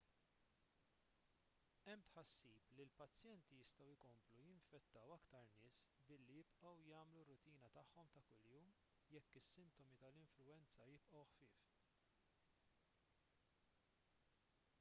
hemm tħassib li l-pazjenti jistgħu jkomplu jinfettaw aktar nies billi jibqgħu jagħmlu r-rutina tagħhom ta' kuljum jekk is-sintomi tal-influwenza jibqgħu ħfief